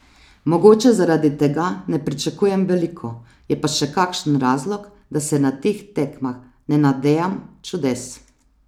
Mogoče zaradi tega ne pričakujem veliko, je pa še kakšen razlog, da se na teh tekmah ne nadejam čudes.